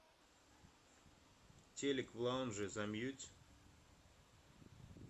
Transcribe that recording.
телик в лаунже замьють